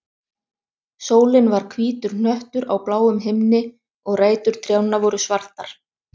Sólin var hvítur hnöttur á bláum himni, og rætur trjánna voru svartar.